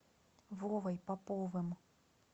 вовой поповым